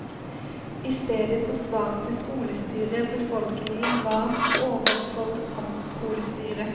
I stedet forsvarte skolestyret befolkningen varmt overfor amtskolestyret.